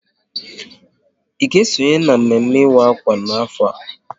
Ị ga esonye na mme mme ịwa akwa n'afọ a?